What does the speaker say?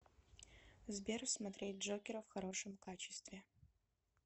сбер смотреть джокера в хорошем качестве